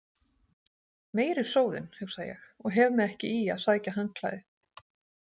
Meiri sóðinn, hugsa ég og hef mig ekki í að sækja handklæði.